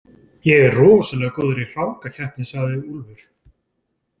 Ég er rosalega góður í hrákakeppni, sagði Úlfur.